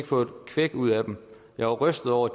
få et kvæk ud af dem jeg var rystet over